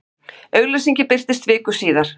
Auglýsingin birtist viku síðar.